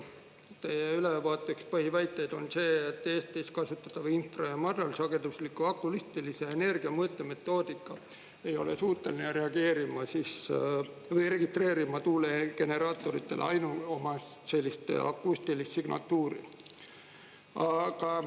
Teie ülevaate üks põhiväiteid on see, et Eestis kasutatava infra- … ja ma arvan, sagedusliku akustilise energiamõõte metoodika ei ole suuteline registreerima tuulegeneraatoritele ainuomast sellist akustilist signatuuri.